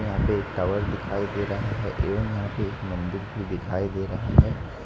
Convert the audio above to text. यहां पे एक टावर दिखाई दे रहा है एवं यहां पे एक मंदिर भी दिखाई दे रहा है ।